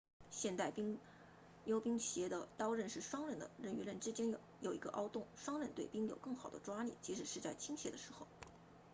现代溜冰鞋的刀刃是双刃的刃与刃之间有一个凹洞双刃对冰有更好的抓力即使是在倾斜的时候